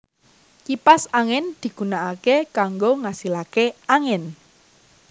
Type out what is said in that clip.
Kipas angin digunakake kanggo ngasilake angin